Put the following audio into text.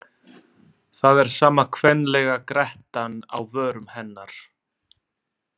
Það er sama kvenlega grettan á vörum hennar.